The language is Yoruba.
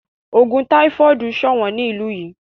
Ogun táífọ́ọ̀dù sọ̀wọ́n ní ìlú yìí.